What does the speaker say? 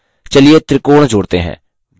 चलिए त्रिकोण जोड़ते हैं